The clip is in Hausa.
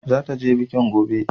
Zata je biki gobe